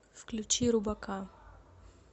включи рубака